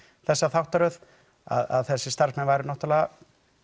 þessa þáttaröð að þessir starfsmenn væru náttúrulega